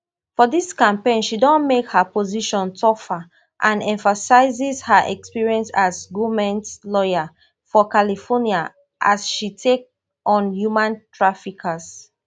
for dis campaign she don make her position tougher and emphasis her experience as goment lawyer for california as she take on human traffickers